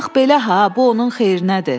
Bax belə ha, bu onun xeyrinədir.